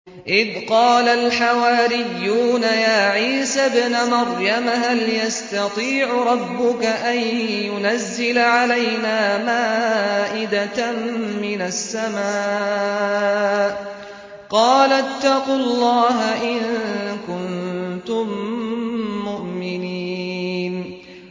إِذْ قَالَ الْحَوَارِيُّونَ يَا عِيسَى ابْنَ مَرْيَمَ هَلْ يَسْتَطِيعُ رَبُّكَ أَن يُنَزِّلَ عَلَيْنَا مَائِدَةً مِّنَ السَّمَاءِ ۖ قَالَ اتَّقُوا اللَّهَ إِن كُنتُم مُّؤْمِنِينَ